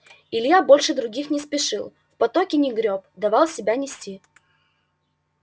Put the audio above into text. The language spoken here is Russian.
илья больше других не спешил в потоке не грёб давал себя нести